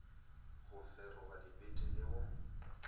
go feroga dibete le go